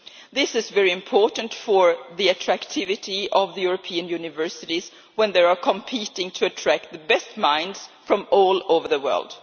This is very important for the attractiveness of European universities when they are competing to attract the best minds from all over the world.